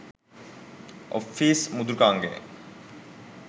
Office මෘදුකාංගයයි.